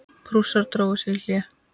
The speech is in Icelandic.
Prússar drógu sig í hlé.